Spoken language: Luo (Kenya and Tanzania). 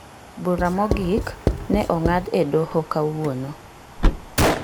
Bura mogik ne ong'ad e doho kawuono.